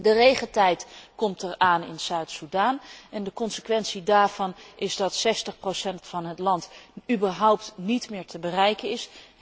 De regentijd komt eraan in Zuid Soedan, en de consequentie daarvan is dat 60 van het land überhaupt niet meer te bereiken is.